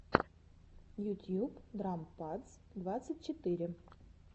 ютьюб драм падс двадцать четыре